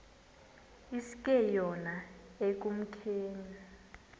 iske yona ekumkeni